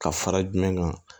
Ka fara jumɛn kan